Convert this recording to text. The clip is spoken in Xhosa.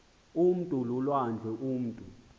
umntu lulwandle umutu